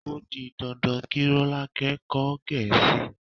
O di dandan kí Rọ́lákẹ́ kọ́ Gẹ̀ẹ́sì.